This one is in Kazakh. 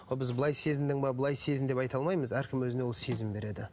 ол біз былай сезіндің бе былай сезін деп айта алмаймыз әркім өзіне ол сезім береді